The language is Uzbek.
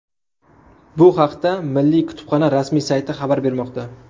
Bu haqda Milliy kutubxona rasmiy sayti xabar bermoqda .